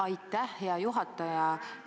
Aitäh, hea juhataja!